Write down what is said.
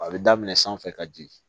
A bɛ daminɛ sanfɛ ka jigin